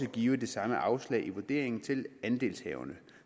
give det samme afslag i vurderingen til andelshaverne